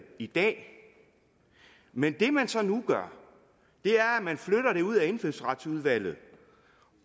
i dag men det man så nu gør er at man flytter det ud af indfødsretsudvalget